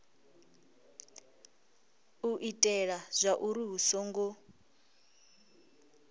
u itela zwauri hu songo